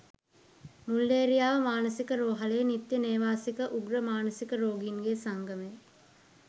මුල්ලේරියාව මානසික රෝහලේ නිත්‍ය නේවාසික උග්‍ර මානසික රෝගීන්ගේ සංගමය.